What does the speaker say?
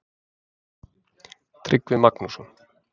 Tryggvi Magnússon.